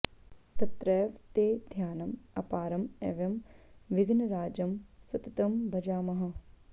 तत्रैव ते ध्यानं अपारं एवं विघ्नराजं सततं भजामः